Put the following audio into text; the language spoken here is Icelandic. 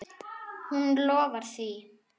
Hún lofar því.